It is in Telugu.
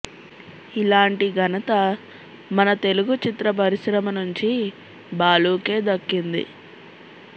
ఇలాంటి ఘనత మన తెలుగు చిత్ర పరిశ్రమ నుంచి బాలూకే దక్కింది